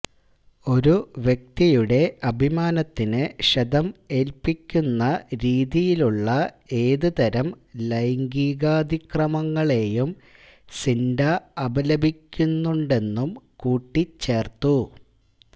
ഒരു വ്യക്തിയുടെ അഭിമാനത്തിന് ക്ഷതം ഏൽപ്പിക്കുന്ന രീതിയിലുള്ള ഏതു തരം ലൈംഗികാതിക്രമങ്ങളേയും സിൻഡാ അപലപിക്കുന്നുണ്ടെന്നും കൂട്ടിച്ചേർത്തു